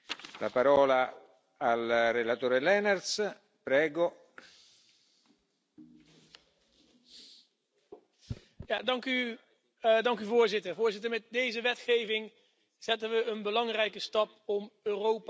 Voorzitter, met deze wetgeving zetten we een belangrijke stap om Europa veiliger te maken, om beschikbare informatie over criminelen en terroristen sneller en vollediger op de juiste plek te krijgen, om onze grenzen